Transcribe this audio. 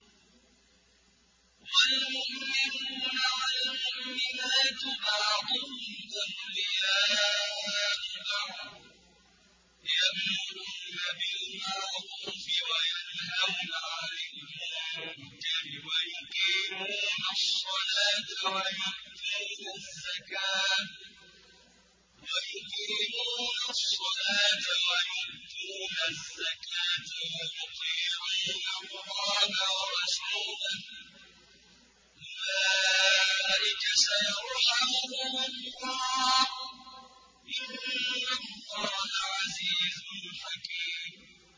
وَالْمُؤْمِنُونَ وَالْمُؤْمِنَاتُ بَعْضُهُمْ أَوْلِيَاءُ بَعْضٍ ۚ يَأْمُرُونَ بِالْمَعْرُوفِ وَيَنْهَوْنَ عَنِ الْمُنكَرِ وَيُقِيمُونَ الصَّلَاةَ وَيُؤْتُونَ الزَّكَاةَ وَيُطِيعُونَ اللَّهَ وَرَسُولَهُ ۚ أُولَٰئِكَ سَيَرْحَمُهُمُ اللَّهُ ۗ إِنَّ اللَّهَ عَزِيزٌ حَكِيمٌ